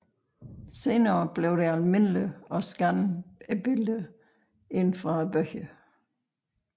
Senere blev det almindeligt at scanne billederne ind fra bøgerne